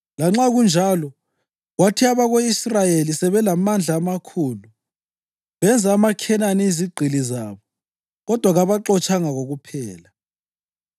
Lanxa kunjalo, kwathi abako-Israyeli sebelamandla amakhulu, benza amaKhenani izigqili zabo kodwa kababaxotshanga kokuphela.